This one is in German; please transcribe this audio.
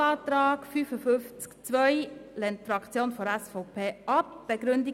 Den Eventualantrag zu Artikel 55 Absatz 2 lehnt die Fraktion der SVP ebenfalls ab.